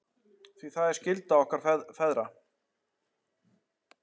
Því það er skylda okkar feðra.